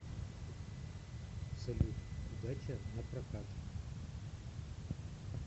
салют удача напрокат